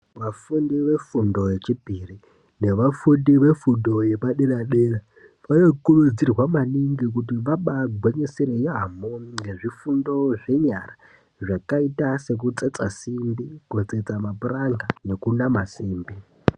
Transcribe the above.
Vafundi vefundo yechipiri nevafundi vefundo yepadera dera vanokurudzirwa maningi kuti vana gwinyisira yambo nezvifundo zvenyara zvakaita kutsetsa simbi kutsetsa mapuranga nekunama simbi.